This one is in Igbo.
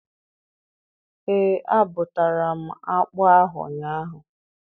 Ee, abụtara m akpụ ahụ ụnyaahụ.